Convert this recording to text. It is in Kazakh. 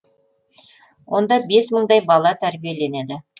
онда бес мыңдай бала тәрбиеленеді